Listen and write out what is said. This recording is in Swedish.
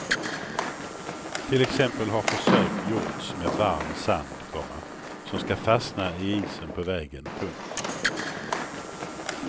Till exempel har försök gjorts med varm sand, komma som ska fastna i isen på vägen. punkt